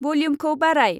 वल्युमखौ बाराय।